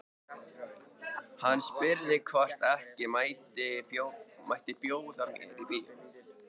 Hann spurði hvort ekki mætti bjóða mér í bíó.